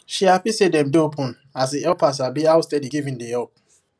she happy say dem dey open as e help her sabi how steady giving dey help